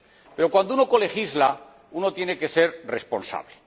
Pero cuando uno colegisla, uno tiene que ser responsable.